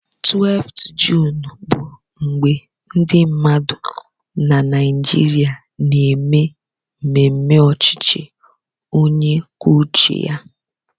12 Juun bụ mgbe ndị mmadụ na Naịjirịa na-eme mmemme ọchịchị onye kwuo uche ya